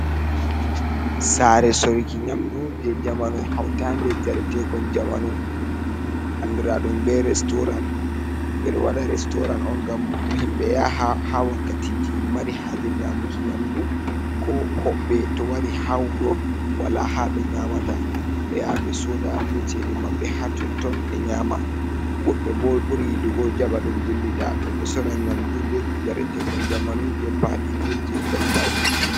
Sare sorruki nyamdu, je jamanu hautande njaretekon jamanu andradum be restoran, beɗo waɗa restoran'on ngam himɓe yaha wakkatiji mari haje nyamuki nyamdu, ko hobɓe to wari ha wuro wala ha ɓe nyamata be yaha be soda be cede mabɓe hatotton be nyama, wobɓe bo ɓuri yiɗugo jaɓa ɗum dillida, ɗum ɗon sorra nyamdu be njaretekon jamanu je pali be je kolbaji.